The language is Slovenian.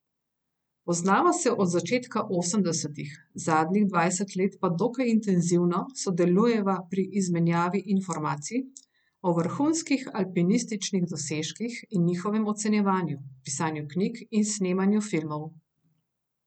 Poznava se od začetka osemdesetih, zadnjih dvajset let pa dokaj intenzivno sodelujeva pri izmenjavi informacij o vrhunskih alpinističnih dosežkih in njihovem ocenjevanju, pisanju knjig in snemanju filmov.